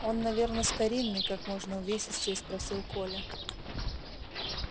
он наверно старинный как можно увесистее спросил коля